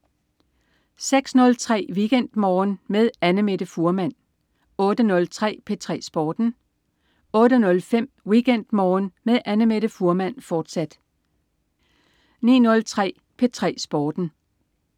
06.03 WeekendMorgen med Annamette Fuhrmann 08.03 P3 Sporten 08.05 WeekendMorgen med Annamette Fuhrmann, fortsat 09.03 P3 Sporten